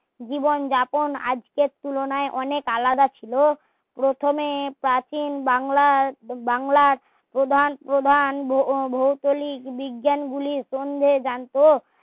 জীবন যাপন আজকের তুলনায় অনেক আলাদা ছিলো প্রথমে প্রাচীন বাংলার বাংলা প্রধান প্রধান ভৌ ভৌগোলিক বিজ্ঞান গুলির জানতো